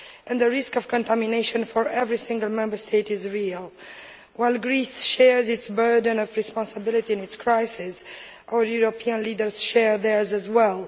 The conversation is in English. The risk of contamination of every single Member State is a real one. While Greece shares its burden of responsibility in its crisis, our European leaders share theirs as well.